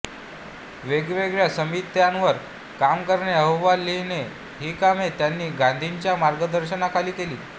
वेगवेगळ्या समित्यांवर काम करणे अहवाल लिहिणे ही कामे त्यांनी गांधींच्या मार्गदर्शनाखाली केली